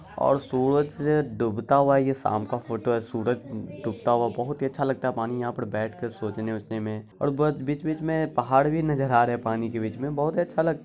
और सूरज डूबता हुआ ये शाम का फोटो है। सूरज डूबता हुआ बहुत ही अच्छा लगता है पानी यहाँ पर बैठकर सोचने-वोचने में। और बहुत बीच-बीच में पहाड़ भी नजर आ रहे है पानी के बीच में बहुत ही अच्छा लग--